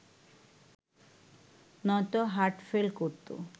নয়তো হার্টফেল করত